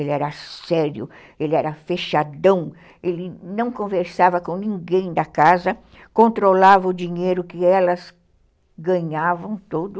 Ele era sério, ele era fechadão, ele não conversava com ninguém da casa, controlava o dinheiro que elas ganhavam todo.